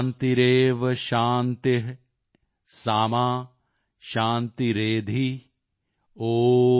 ਸ਼ਾਂਤੀਰੇਵ ਸ਼ਾਂਤੀ ਸਾ ਮਾ ਸ਼ਾਂਤੀਰੇਧਿ॥